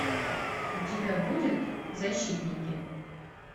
у тебя будет защитники